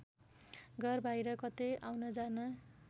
घरबाहिर कतै आउनजान